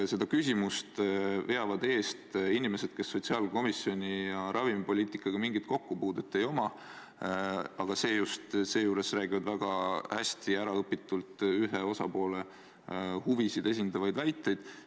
Ja seda küsimust veavad eest inimesed, kel pole sotsiaalkomisjoni ega ravimipoliitikaga mingit kokkupuudet, aga ometi nad esitavad väga hästi äraõpitult ühe osapoole huvisid esindavaid väiteid.